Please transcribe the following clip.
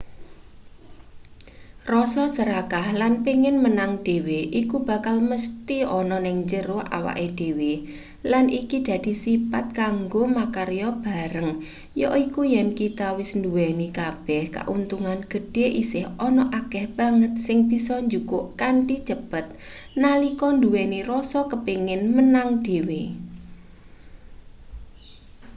rasa serakah lan pengin menang dhewe iku bakal mesthi ana ning njero awake dhewe lan iki dadi sipat kanggo makarya bareng yaiku yen kita wis nduweni kabeh kauntungan gedhe isih ana akeh banget sing bisa jukuk kanthi cepet nalika nduweni rasa kepingin menang dhewe